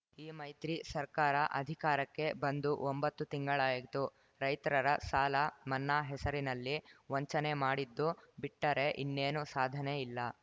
ಈ ಮೈತ್ರಿ ಸರ್ಕಾರ ಅಧಿಕಾರಕ್ಕೆ ಬಂದು ಒಂಬತ್ತು ತಿಂಗಳಾಯಿತು ರೈತ್ರರ ಸಾಲ ಮನ್ನಾ ಹೆಸರಿನಲ್ಲಿ ವಂಚನೆ ಮಾಡಿದ್ದು ಬಿಟ್ಟರೆ ಇನ್ನೇನೂ ಸಾಧನೆ ಇಲ್ಲ